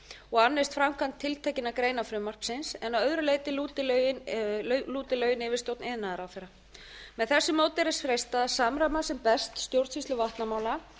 og annist framkvæmd tiltekinna greina frumvarpsins en að öðru leyti lúti lögin yfirstjórn iðnaðarráðherra með þessu móti er þess freistað að samræma sem best stjórnsýslu vatnamála